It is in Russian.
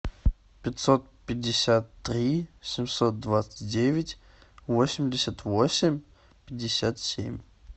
пятьсот пятьдесят три семьсот двадцать девять восемьдесят восемь пятьдесят семь